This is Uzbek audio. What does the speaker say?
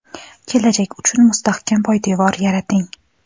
kelajak uchun mustahkam poydevor yarating!.